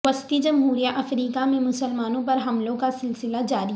وسطی جمہوریہ افریقہ میں مسلمانوں پر حملوں کا سلسلہ جاری